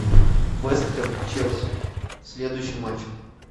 вест хэм челси следующий матч